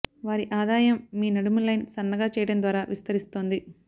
వారి ఆదాయం మీ నడుము లైన్ సన్నగా చేయడం ద్వారా విస్తరిస్తోంది